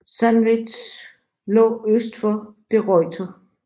Sandwich lå øst for De Ruyter